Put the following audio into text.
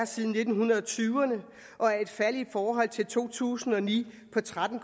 siden nitten tyve ’erne og er et fald i forhold til to tusind og ni på tretten